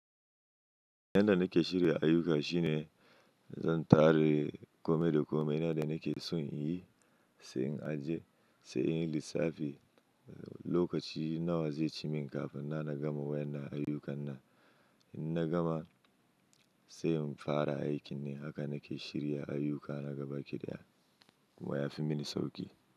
Yanda nake shirya ayyuka shine zan tare kome da kome. Ina da nake son in yi, sai in ajiye, sai in yi lissafi. Lokaci nawa zai ci min kafin na gama wannan ayyukan nan. In na gama, sai in fara aiki ne. Haka nake shirya ayyuka na gabaƙi daya kuma ya fi mini sauƙi.